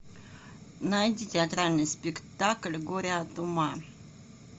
найди театральный спектакль горе от ума